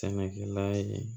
Sɛnɛkɛla ye